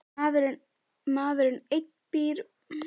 Maðurinn einn býr við ótta um sjálfstortímingu.